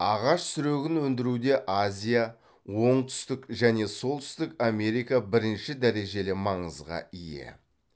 ағаш сүрегін өндіруде азия оңтүстік және солтүстік америка бірінші дәрежелі маңызға ие